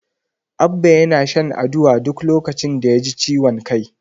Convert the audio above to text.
Abba yana shan Aduwa duk lokacin da yaji ciwon kai.